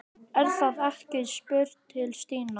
Er það ekki? spurði Stína.